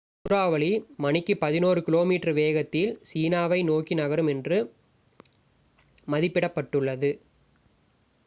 சூறாவளி மணிக்கு பதினொரு கி.மீ வேகத்தில் சீனாவை நோக்கி நகரும் என்று மதிப்பிடப்பட்டுள்ளது